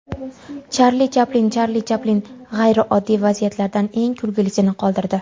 Charli Chaplin Charli Chaplin g‘ayrioddiy vasiyatlardan eng kulgilisini qoldirdi.